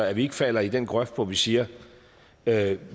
at vi ikke falder i den grøft hvor vi siger at